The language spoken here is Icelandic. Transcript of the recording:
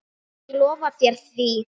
Ég lofa þér því.